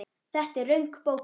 Þetta er röng bókun.